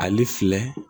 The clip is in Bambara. Ale filɛ